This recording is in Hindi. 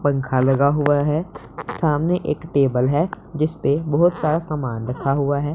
पंखा लगा हुआ है सामने एक टेबल है जिस पे बहोत सारा सामान रखा हुआ है।